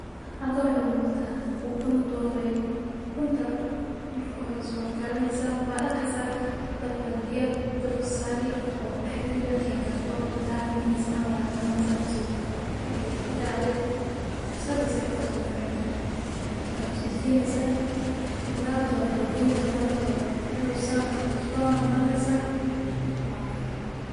Halka waxa u muuqata, ukun doorey ukunta. Marka horeysi karaysa waa dhaqaysa dabka biyo dabka saari ugu dhaxridhi markay karto thirty minutes camal aya qaadinaysa okay intaa aad sadiisi way kor toko xiran tahay? Wa kastoo deegineysa hada rabto wakala goynaha daarto, wuxuu saanaa cusbaa marnaysa waa cuni.